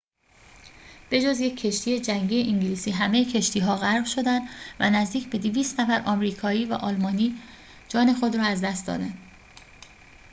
به‌جز یک کشتی جنگی انگلیسی همه کشتی‌ها غرق شدند و نزدیک به ۲۰۰ نفر آمریکایی و آلمانی جان خود را از دست دادند